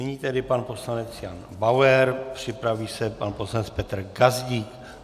Nyní tedy pan poslanec Jan Bauer, připraví se pan poslanec Petr Gazdík.